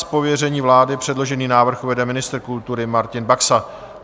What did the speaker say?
Z pověření vlády předložený návrh uvede ministr kultury Martin Baxa.